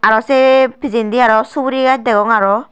aro sey pejandi aro sugori gass dagong aro.